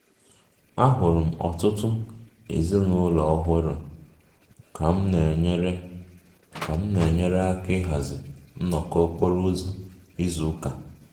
Ahụrụ m ọtụtụ ezinụlọ ọhụrụ ka m na-enyere na-enyere aka ịhazi nnọkọ okporo ụzọ izu ụka